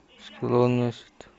склонность